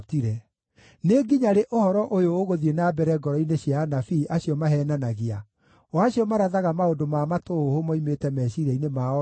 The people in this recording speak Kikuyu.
Nĩ nginya rĩ ũhoro ũyũ ũgũthiĩ na mbere ngoro-inĩ cia anabii acio maheenanagia, o acio marathaga maũndũ ma matũhũhũ moimĩte meciiria-inĩ mao ene?